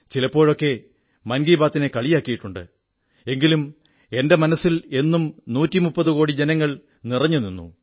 ചിലപ്പോഴൊക്കെ മൻ കീ ബാത്തിനെ കളിയാക്കിയിട്ടുണ്ട് എങ്കിലും എന്റെ മനസ്സിൽ എന്നും 130 കോടി ജനങ്ങൾ നിറഞ്ഞുനിന്നു